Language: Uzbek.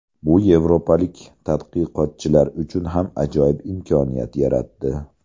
Bu yevropalik tadqiqotchilar uchun ham ajoyib imkoniyat yaratdi.